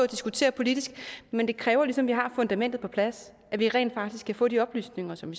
diskutere politisk men det kræver ligesom at vi har fundamentet på plads at vi rent faktisk kan få de oplysninger som